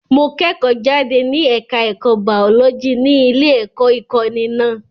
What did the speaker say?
Mo kẹ́kọ̀ọ́ jáde ní ẹ̀ka ẹ̀kọ́ baọ́lọ́jì ní ilé-ẹ̀kọ́ ìkọ́ni náà.